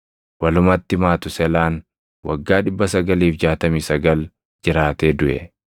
Walumatti Matuuselaan waggaa 969 jiraatee duʼe.